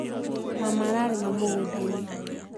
Mama ararĩma mũgũndainĩ